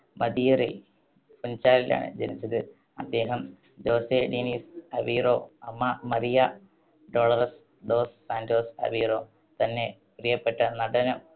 മദീറയിൽ ഫുൻ‌ചാലിലാണ് ജനിച്ചത്. അദ്ദേഹം ജോസേ ഡീനിസ് അവീറോ, അമ്മ Maria Dolores dos Santos Aveiro. തൻ്റെ പ്രിയപ്പെട്ട നടനം